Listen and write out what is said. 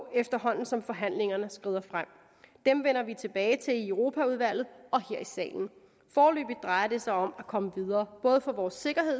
efterhånden som forhandlingerne skrider frem dem vender vi tilbage til i europaudvalget og her i salen foreløbig drejer det sig om at komme videre både for vores sikkerhed